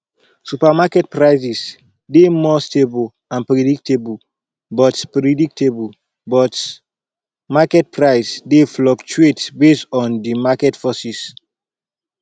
supermarket prices dey more stable and predictable but predictable but market prices dey fluctuate based on di market forces